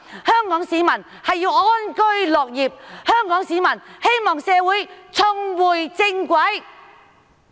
香港市民需要安居樂業，香港市民希望社會重回正軌。